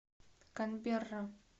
канберра